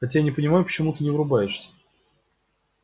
хотя не понимаю почему ты не врубаешься